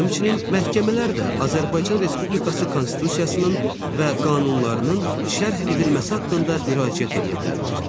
Həmçinin məhkəmələr də Azərbaycan Respublikası Konstitusiyasının və qanunlarının şərh edilməsi haqqında müraciət eləyə bilərlər.